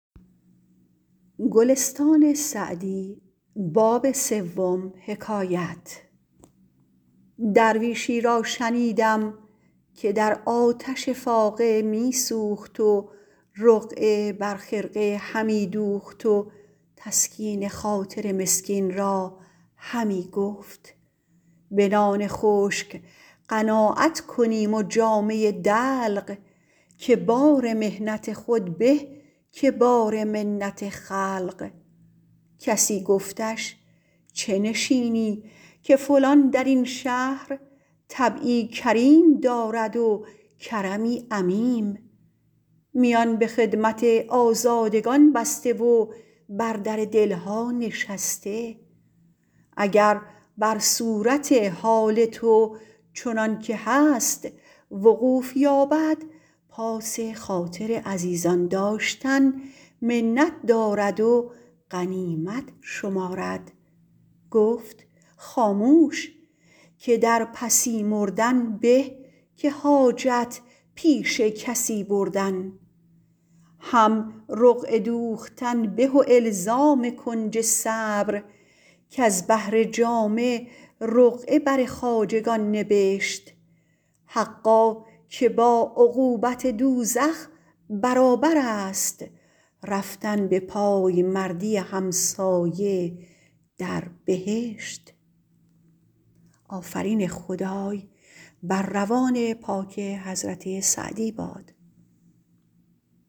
درویشی را شنیدم که در آتش فاقه می سوخت و رقعه بر خرقه همی دوخت و تسکین خاطر مسکین را همی گفت به نان خشک قناعت کنیم و جامه دلق که بار محنت خود به که بار منت خلق کسی گفتش چه نشینی که فلان در این شهر طبعی کریم دارد و کرمی عمیم میان به خدمت آزادگان بسته و بر در دل ها نشسته اگر بر صورت حال تو چنان که هست وقوف یابد پاس خاطر عزیزان داشتن منت دارد و غنیمت شمارد گفت خاموش که در پسی مردن به که حاجت پیش کسی بردن هم رقعه دوختن به و الزام کنج صبر کز بهر جامه رقعه بر خواجگان نبشت حقا که با عقوبت دوزخ برابر است رفتن به پایمردی همسایه در بهشت